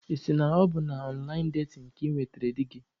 Ị sị na ọ bụ na ọnlaịn datin ka ị nwetara di gị?